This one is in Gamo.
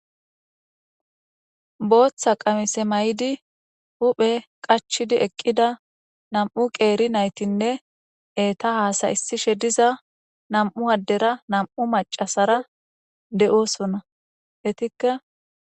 Booththa qamise ma7idi huphe qachidi eqqida nam7u qeeri naytinne eeta haasayissishe diza nam7u addera nam7u macasara de7oosonna. Etikka